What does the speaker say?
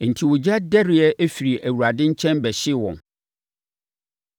Enti ogya dɛreɛ firi Awurade nkyɛn bɛhyee wɔn.